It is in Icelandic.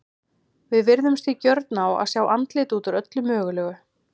Við virðumst því gjörn á að sjá andlit út úr öllu mögulegu.